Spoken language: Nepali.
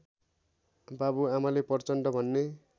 बाबुआमाले प्रचण्ड भन्ने